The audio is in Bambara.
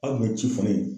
Hali ni ci fana ye